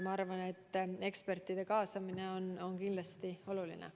Ma arvan, et ekspertide kaasamine on kindlasti oluline.